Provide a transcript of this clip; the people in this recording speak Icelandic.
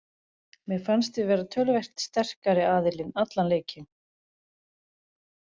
Mér fannst við vera töluvert sterkari aðilinn allan leikinn.